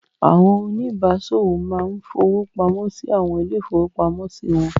Àwọn oníbàáṣòwò máa ń fowó pamọ́ sí àwọn ilé-ìfowópamọ́sí wọn.